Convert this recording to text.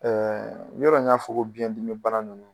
yɔrɔ n y'a fɔ ko biyɛn dimi bana nunnu